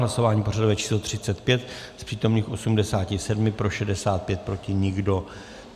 Hlasování pořadové číslo 35, z přítomných 87 pro 65, proti nikdo.